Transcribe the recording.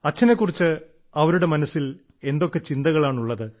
അച്ഛനെ കുറിച്ച് അവരുടെ മനസ്സിൽ എന്തൊക്കെ ചിന്തകളാണുള്ളത്